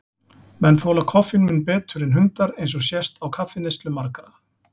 Menn þola koffín mun betur en hundar, eins og sést á kaffineyslu margra.